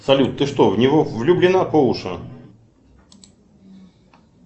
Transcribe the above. салют ты что в него влюблена по уши